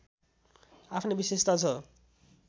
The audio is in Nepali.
आफ्नै विशेषता छ